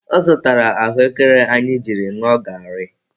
Ọ zụtara ahụekere anyị jiri ṅụọ garị.